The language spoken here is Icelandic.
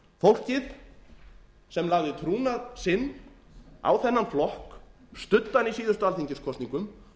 fólkið sem lagði trúnað sinn á þennan flokk studdi hann í síðustu alþingiskosningum